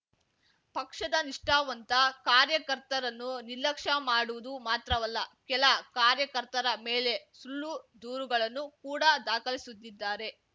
ಪಕ್ಷದ ನಿಷ್ಠಾವಂತ ಕಾರ್ಯಕರ್ತರನ್ನು ನಿರ್ಲಕ್ಷ್ಯ ಮಾಡುವುದು ಮಾತ್ರವಲ್ಲ ಕೆಲ ಕಾರ್ಯಕರ್ತರ ಮೇಲೆ ಸುಳ್ಳು ದೂರುಗಳನ್ನು ಕೂಡ ದಾಖಲಿಸುತ್ತಿದ್ದಾರೆ